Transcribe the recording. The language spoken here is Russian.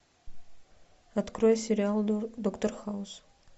открой сериал доктор хаус